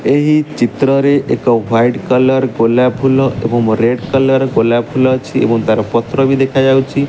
ଏହି ଚିତ୍ର ରେ ଏକ ହ୍ୱାଇଟ୍ କଲର୍ ଗୋଲାପ ଫୁଲ ଏବଂ ରେଡ କଲର୍ ଗୋଲାପ ଫୁଲ ଅଛି ଏବଂ ତାର ପତ୍ର ବି ଦେଖା ଯାଉଚି ।